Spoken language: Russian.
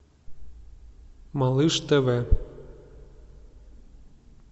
малыш тв